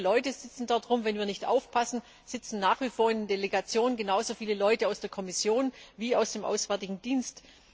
Viele Leute sitzen dort herum, und wenn wir nicht aufpassen, sitzen nach wie vor in den Delegationen genauso viele Leute aus der Kommission wie aus dem Auswärtigen Dienst.